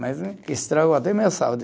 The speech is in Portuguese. Mas estragou até a minha saúde.